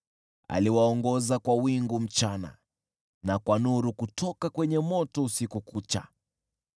Aliwaongoza kwa wingu mchana na kwa nuru kutoka kwenye moto usiku kucha.